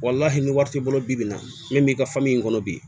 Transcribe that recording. ni wari t'i bolo bi bi in na min b'i ka in kɔnɔ bi